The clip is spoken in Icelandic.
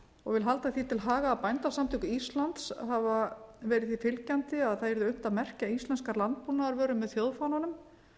og vil halda því til haga að bændasamtök íslands hafa verið því fylgjandi að unnt yrði að merkja íslenskar landbúnaðarvörur með